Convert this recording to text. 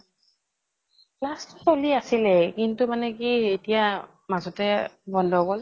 class চলি আছিলে কিন্তু মানে কি এতিয়া মাজতে বন্ধ গল।